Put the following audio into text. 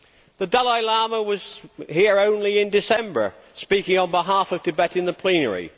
The Dalai Lama was here only in December, speaking on behalf of Tibet in the plenary.